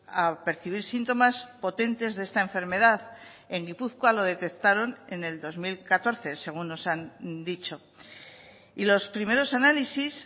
a percibir síntomas potentes de esta enfermedad en gipuzkoa lo detectaron en el dos mil catorce según nos han dicho y los primeros análisis